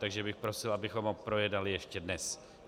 Takže bych prosil, abychom ho projednali ještě dnes.